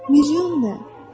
Milyon nə?